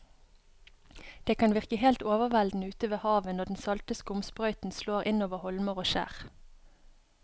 Det kan virke helt overveldende ute ved havet når den salte skumsprøyten slår innover holmer og skjær.